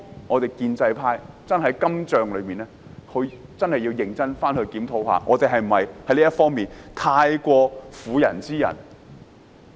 我們建制派對於今仗真的要認真檢討，我們是否太過婦人之仁。